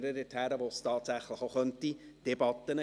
Nun sind es bald nicht mehr nur Berichte.